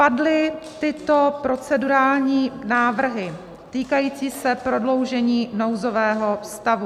Padly tyto procedurální návrhy, týkající se prodloužení nouzového stavu: